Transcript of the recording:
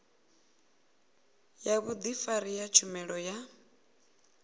ya vhudifari ya tshumelo ya